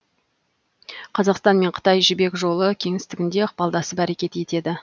қазақстан мен қытай жібек жолы кеңістігінде ықпалдасып әрекет етеді